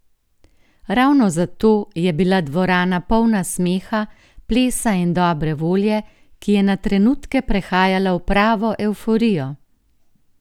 Ravno zato je bila dvorana polna smeha, plesa in dobre volje, ki je na trenutke prehajala v pravo evforijo!